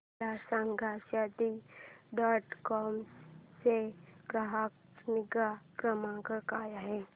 मला सांगा Shaadi dot com चा ग्राहक निगा क्रमांक काय आहे